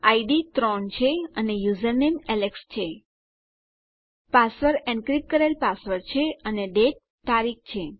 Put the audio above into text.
ID 3 છે અને username Alex છે પાસવર્ડ એનક્રિપ્ટ કરેલ પાસવર્ડ છે અને ડેટ તારીખ છે